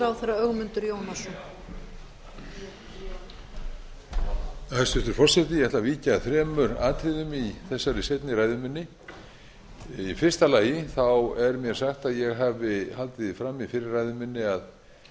að þremur atriðum í þessari seinni ræðu minni í fyrsta lagi er mér sagt að ég hafi haldið því fram í fyrri ræðu minni að